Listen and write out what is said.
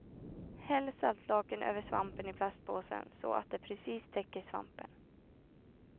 Häll saltlaken över svampen i plastpåsen så att det precis täcker svampen.